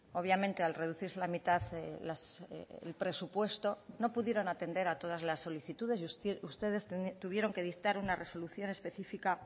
obviamente al reducirse la mitad el presupuesto no pudieron atender a todas las solicitudes y ustedes tuvieron que dictar una resolución específica